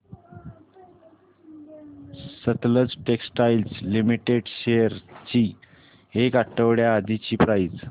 Sutlej textiles limited shares ची एक आठवड्या आधीची प्राइस